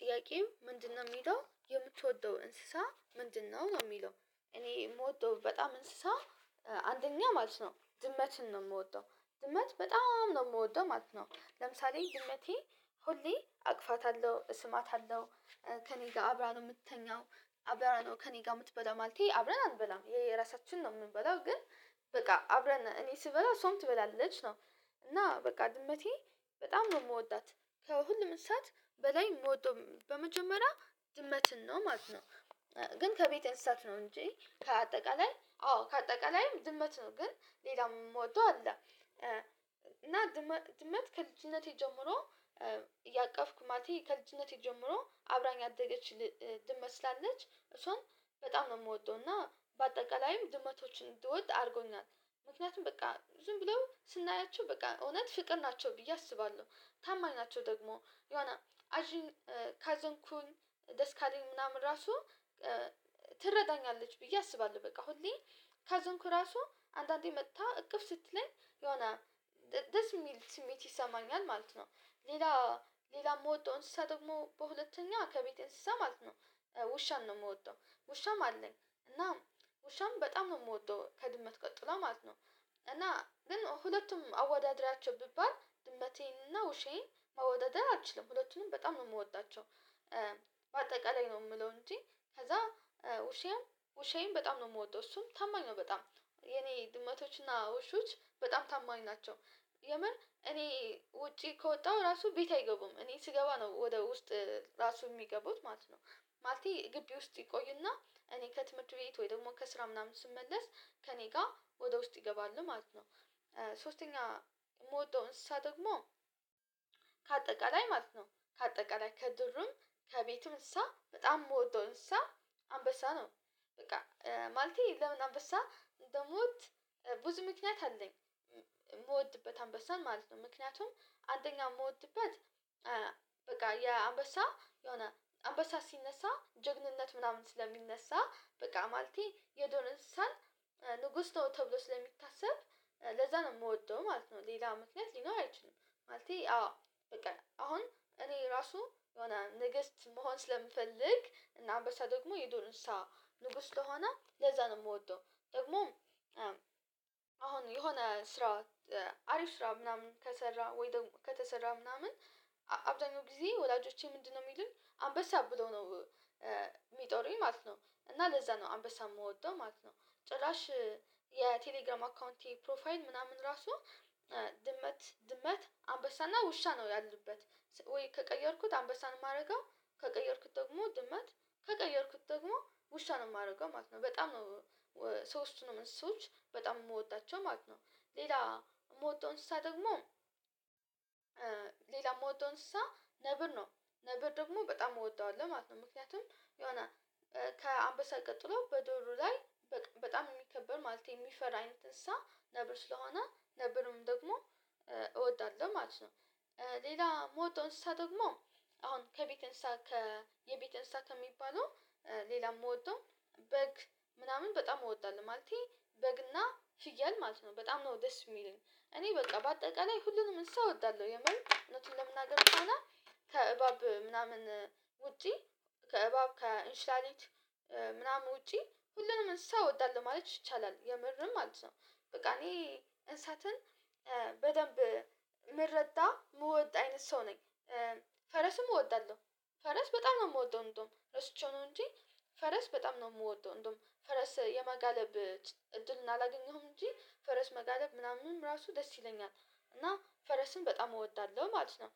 ጥያቄው ምንድነው የሚለው የምትወደው እንስሳ ምንድነው ነው የሚለው፤? እኔ የምወደው በጣም እንስሳ አንደኛ ማለት ነው ድመትን ነው የምወደው ድመት በጣም ነው የምወደው ማለት ነው። ለምሳሌ ድመቴ ሁሌ አቅፋታለሁ፤ እስማታለሁ፤ ከእኔ ጋር አብራ ነው የምትተኛው፤። አብራ ነው ከእኔ ጋር የምትበላ ማለቴ አብረን አንበላም የራሳችን ነው የምንበላው ግን በቃ አብረን እኔ ስበላ እሷም ትበላለች ነው። እና በቃ ድመቴ በጣም ነው የምወዳት ከሁሉም እስሳት በላይ የምወደው በመጀመሪያ ድመትን ነው ማለት ነው። ግን ከቤት እንስሳት ነው እንጂ ከአጠቃላይ አዎ ከአጠቃላይም ድመት ነው ግን ሌላም የምወደው አለ። እና ድመት ከልጅነቴ ጀምሮ እያቀፍኩ ማለቴ ከልጅነቴ ጀምሮ አብራኝ ያደገች ድመት ስላለች እሷን በጣም ነው የምወደው እና በአጠቃላይም ድመቶችን እንድወድ አድርጎናል። ምክንያቱም በቃ ዝም ብለው ስናያቸው በቃ እውነት ፍቅር ናቸው ብዬ አስባለሁ። ታማኝ ናቸው ደግሞ የሆነ አዥን ካዘንኩል ደስ ካለኝ ምናምን ራሱ ትረዳኛለች ብዬ አስባለሁ። በቃ ሁሌ ካዘንኩ ራሱ አንዳንዴ መጥታ እቅፍ ስትለኝ የሆነ ደስ የሚል ስሜት ይሰማኛል ማለት ነው። ሌላ ሌላ የምወዳው እንስሳ ደግሞ በሁለተኛ ከቤቴ እንስሳ ማለት ነው ውሻን ነው የምወደው። ውሻም አለኝ እና ውሻም በጣም ነው የምወደው ከድመት ቀጥላ ማለት ነው። እና ግን ሁለቱም አወዳድራቸው ቢባል ድመቴንና ውሻየን መወዳደር አልችልም ሁለቱንም በጣም ነው የምወጣቸው። በአጠቃላይ ነው የምለው እንጂ ከዛ ውሻየም ውሻየን በጣም ነው የምወዳው እሱም ታማኝ ነው በጣም የኔ ድመቶችና ውሾች በጣም ታማኝ ናቸው። የምር እኔ ውጪ ከወጣሁ ራሱ ቤት አይገቡም እኔ ስገባ ነው ወደ ውስጥ ራሱ የሚገቡት ማለት ነው። ማለቴ ግቢ ውስጥ ይቆዩና እኔ ከትምህርት ቤት ወይ ደግሞ ከስራ ምናምን ስመለስ ከእኔ ጋር ወደ ውስጥ ይገባሉ ማለት ነው። ሶስተኛ የምወዳው እንስሳ ደግሞ ከአጠቃላይ ማለት ነው ከአጠቃላይ ከድሩም ከቤትም እንስሳ በጣም የምወደው እንስሳ አንበሳ ነው። በቃ ማለቴ ለምን አንበሳ እንደምወድት ብዙ ምክንያት አለኝ የምወድበት አንበሳን ማለት ነው። ምክንያቱም አንደኛ የምወድበት በቃ የአንበሳ የሆነ አንበሳ ሲነሳ ጀግንነት ምናምን ስለሚነሳ በቃ ማለቴ የዱር እንስሳን ንጉስ ነው ተብሎ ስለሚታሰብ ለዛ ነው የምወደው ማለት ነው። ሌላ ምክንያት ሊኖር አይችልም ማለቴ አዎ በቃ አሁን እኔ ራሱ የሆነ ንግስት መሆን ስለምፈልግ እና አንበሳ ደግሞ የዱር እንስሰሳ ንጉስ ስለሆነ ለዛ ነው የምወደው። ደግሞ አሁን የሆነ ስራ አሪፍ ስራ ምናምን ከሰራ ወይ ደግሞ ከተሰራ ምናምን አብዛኛው ጊዜ ወላጆቼ ምንድነው የሚሉን አንበሳ ብለው ነው? የሚጠሩኝ ማለት ነው እና ለዛ ነው አምበሳ የምወደው ማለት ነው። ጭራሽ የቴሌግራም አካውንቴ ፕሮፋይል ምናምን ራሱ ድመት ድመት አንበሳና ውሻ ነው ያሉበት። ወይ ከቀየርኩት አንበሳን የማደርገው ከቀየርኩት ደግሞ ድመት ከቀየርኩት ደግሞ ውሻ የማደርገው ማለት ነው። በጣም ሶስቱን ነው እንስሶች በጣም የምወዳቸው ማለት ነው። ሌላ የምወደው እንስሳ ደግሞ የምወደው እንስሳ ነብር ነው። ነብር ደግሞ በጣም እወደዋለሁ ማለት ነው ምክንያቱም የሆነ ከአምበሳ ቀጥሎ በዱሩ ላይ በጣም የሚከበር ማለት የሚፈራ አይነት እንስሳ ነብር ስለሆነ ነብርም ደግሞ እወዳለሁ ማለት ነው። ሌላ የምወዳው እንስሳ ደግሞ አሁን ከቤት እንስሳ ከ የቤት እንስሳ ከሚባለው ሌላ የምወደው በግ ምናምን በጣም እወዳለሁ ማለቴ በግና ፍያል ማለት ነው በጣም ነው ደስ የሚለኝ። እኔ በቃ በአጠቃላይ ሁሉንም እንስሳ እወዳለሁ የምር እውነቱን ለመናገር ከሆነ ከእባብ ምናምን ውጪ ከእባብ ከእንሽላሊት ምናምን ውጪ ሁሉንም እንስሳ እወዳለሁ ማለት ይቻላል የምርም ማለት ነው። በቃ እኔ እንስሳትን በደንብ የምረዳ የምወድ አይነት ሰው ነኝ። ፈረስም እወዳለሁ ፈረስ በጣም ነው የምወደው እንደውም ረስቸው ነው እንጂ ፈረስ በጣም ነው የምወደው እንደውም ፈረስ የመጋለብ እድል አላገኘሁም እንጂ ፈረስ መጋለብ ምናምን ራሱ ደስ ይለኛል እና ፈረስን በጣም እወዳለሁ ማለት ነው፤።